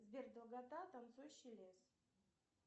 сбер долгота танцующий лес